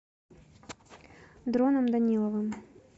дроном даниловым